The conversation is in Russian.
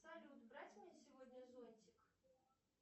салют брать мне сегодня зонтик